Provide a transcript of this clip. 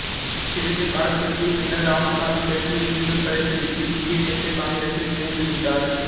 சிறிது காலத்துக்குப் பின்னர் ராமசாமி கட்சியை மீண்டும் கலைத்து விட்டு இந்திய தேசிய காங்கிரசில் இணைந்துவிட்டார்